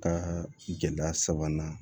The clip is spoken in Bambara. Ka gɛlɛya sabanan